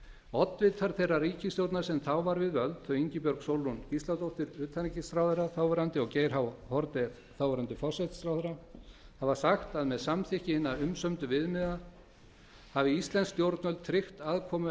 oddvitar þeirrar ríkisstjórnar sem þá var við völd þau ingibjörg sólrún gísladóttir utanríkisráðherra þáv og geir h haarde þáv forsætisráðherra hafa sagt að með samþykkt hinna umsömdu viðmiðana hafi íslensk stjórnvöld tryggt aðkomu